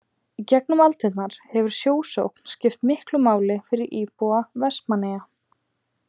Í gegnum aldirnar hefur sjósókn skipt miklu máli fyrir íbúa Vestmannaeyja.